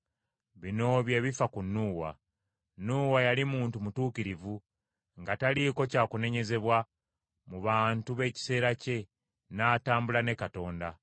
Bino bye bifa ku Nuuwa n’ab’omu nju ye: Nuuwa yali muntu mutuukirivu, nga taliiko kya kunenyezebwa mu bantu b’ekiseera kye, n’atambula ne Katonda.